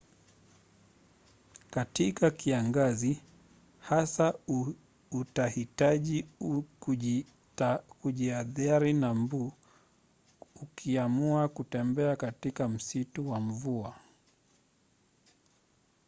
katika kiangazi hasa utahitaji kujihadhari na mbu ukiamua kutembea katika msitu wa mvua